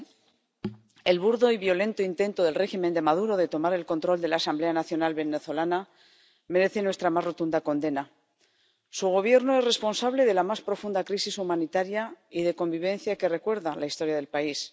Señora presidenta, alto representante, el burdo y violento intento del régimen de Maduro de tomar el control de la Asamblea Nacional venezolana merece nuestra más rotunda condena. Su Gobierno es responsable de la más profunda crisis humanitaria y de convivencia que recuerda la historia del país.